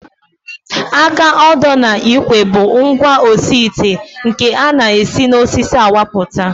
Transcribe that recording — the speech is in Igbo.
Aka odo na ikwe bụ ngwaosiite nke a na-esi n'osisi awapụta